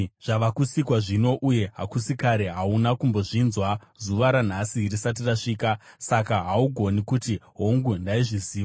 Zvava kusikwa zvino, uye hakusi kare; hauna kumbozvinzwa zuva ranhasi risati rasvika. Saka haugoni kuti, ‘Hongu, ndaizviziva.’